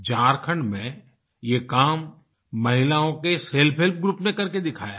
झारखण्ड में ये काम महिलाओं के सेल्फ हेल्प ग्रुप ने करके दिखाया है